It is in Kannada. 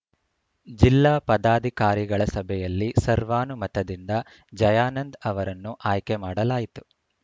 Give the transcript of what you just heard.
ಜಿಲ್ಲಾ ಪದಾಧಿಕಾರಿಗಳ ಸಭೆಯಲ್ಲಿ ಸರ್ವಾನುಮತದಿಂದ ಜಯಾನಂದ್‌ ಅವರನ್ನು ಆಯ್ಕೆ ಮಾಡಲಾಯಿತು